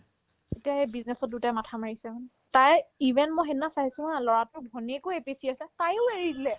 এতিয়া সেই business ত দুটাই মাথা মাৰিছে মানে তাই even মই সেইদিনা চাইছো haa ল'ৰাটোৰ ভনীয়েকো APSC আছে তায়ো এৰি দিলে